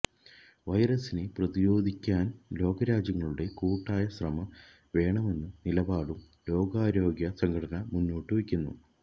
വൈറസിനെ പ്രതിരോധിക്കാന് ലോകരാജ്യങ്ങളുടെ കൂട്ടായ ശ്രമം വേണമെന്ന നിലപാടും ലോകാരോഗ്യ സംഘടന മുന്നോട്ട് വെക്കുന്നു